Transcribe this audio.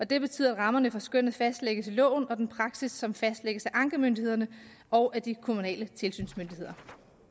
det betyder at rammerne for skønnet fastlægges i loven og af den praksis som fastlægges af ankemyndighederne og de kommunale tilsynsmyndigheder